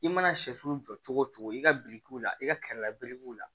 I mana sɛfu jɔ cogo cogo i ka birikiw la i ka kɛrɛ belebugu la